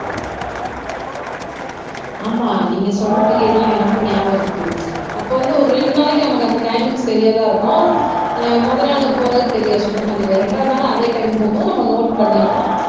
ஆமா நீங்க சொன்ன பீரியட்ல எனக்கும் ஞாபகம் இருக்கு அப்ப வந்து ஒரு ரெண்டு நாளைக்கு நமக்கு அந்த டைமிங் சரியாத இருக்கும் அஹ் முதல் நாள் போறது தெரியாது சுத்தமா தெரியாது ரெண்டாவது நாளும் அதே டைம் போகும்போது நம்ம நோட் பண்ணிடுவோம்